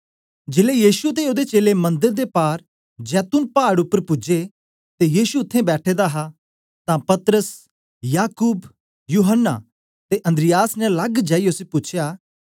जेलै यीशु ते ओदे चेलें मंदर दे पार जैतून पाड़ उपर पूजे ते यीशु उत्थें बैठा दा हा तां पतरस याकूब यूहन्ना ते अन्द्रियास ने लग जाईयै उसी पूछया